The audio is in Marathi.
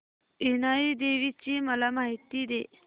इनाई देवीची मला माहिती दे